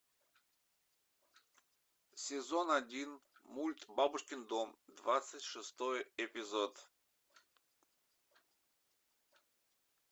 сезон один мульт бабушкин дом двадцать шестой эпизод